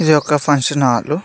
ఇది ఒక function hall .